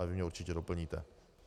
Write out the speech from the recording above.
Ale vy mě určitě doplníte.